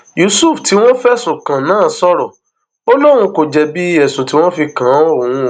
yusuf tí wọn fẹsùn kàn náà sọrọ ó lóun kò jẹbi ẹsùn tí wọn fi kan òun